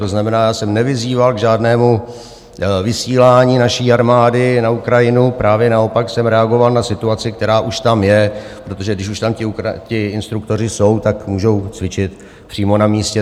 To znamená, já jsem nevyzýval k žádnému vysílání naší armády na Ukrajinu, právě naopak jsem reagoval na situaci, která už tam je, protože když už tam ti instruktoři jsou, tak můžou cvičit přímo na místě.